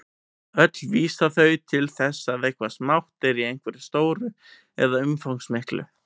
Öll vísa þau til þess að eitthvað smátt er í einhverju stóru eða umfangsmiklu.